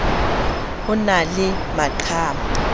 ho na le maqhama a